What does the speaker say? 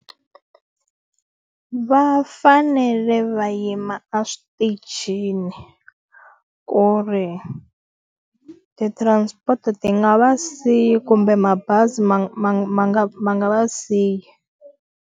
Va fanele va yima eswitichini ku ri ti-transport ti nga va siyi kumbe mabazi ma ma ma ma nga ma nga va siyi.